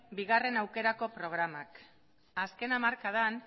bigarrena aukerako programak azken hamarkadan